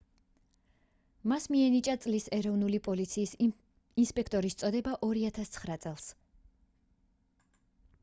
მას მიენიჭა წლის ეროვნული პოლიციის ინსპექტორის წოდება 2009 წელს